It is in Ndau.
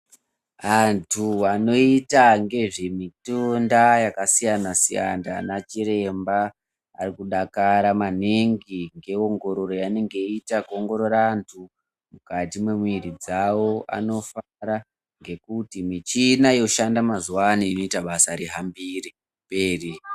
Antu anoita ngezvemitunda yakasiyana siyana ana chiremba ari kudakara maningi ngeeongorooro yavanenge veiita kuongoorora antu mukati mwemiiiri dzawo anofara ngekuti michini yoshanda mazuwa ano inoita basa rihambire mberi.